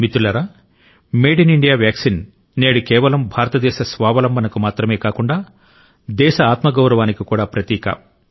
మిత్రులారా made in India vaccine నేడు కేవలం భారతదేశ స్వావలంబనకు మాత్రమే కాకుండా దేశ ఆత్మగౌరవానికి కూడా ప్రతీక